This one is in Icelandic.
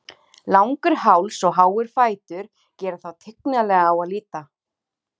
Langur háls og háir fætur gera þá tignarlega á að líta.